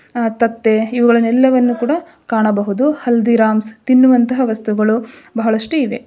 ಅ ತತ್ತೇ ಇವುಗಳೆಲ್ಲವನ್ನು ಕೂಡ ಕಾಣಬಹುದು ಹಲ್ದಿರಾಮ್ಸ್ ತಿನ್ನುವಂತಹ ವಸ್ತುಗಳು ಬಹಳಷ್ಟು ಇವೆ.